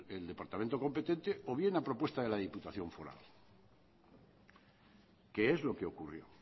el departamento competente o bien la propuesta de la diputación foral que es lo que ocurrió